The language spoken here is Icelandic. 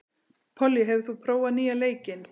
Pollý, hefur þú prófað nýja leikinn?